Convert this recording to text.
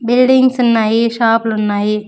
Buildings ఉన్నాయి షాపులు ఉన్నాయి.